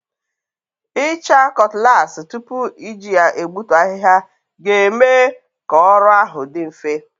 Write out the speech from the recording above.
Ịcha cutlass tupu iji ya egbutu ahịhịa ga-eme ka ọrụ ahụ dị mfe.